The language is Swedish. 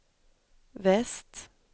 väst